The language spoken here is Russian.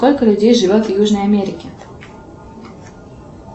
сколько людей живет в южной америке